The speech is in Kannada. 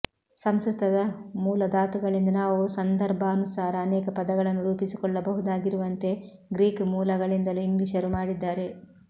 ಸಂಸ್ಕೃತದ ಮೂಲ ಧಾತುಗಳಿಂದ ನಾವು ಸಂದರ್ಭಾನುಸಾರ ಅನೇಕ ಪದಗಳನ್ನು ರೂಪಿಸಿಕೊಳ್ಳಬಹುದಾಗಿರುವಂತೆ ಗ್ರೀಕ್ ಮೂಲಗಳಿಂದಲೂ ಇಂಗ್ಲಿಷರು ಮಾಡಿದ್ದಾರೆ